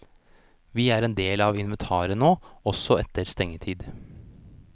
Vi er en del av inventaret nå, også etter stengetid.